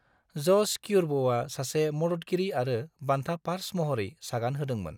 ज'स क्यूर्भ'आ सासे मददगिरि आरो बान्था पार्स महरै सागान होदोंमोन।